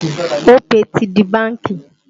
Opay ti di bánkì